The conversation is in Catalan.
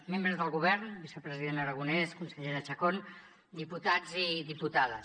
membres del govern vicepresident aragonès consellera chacón diputats i diputades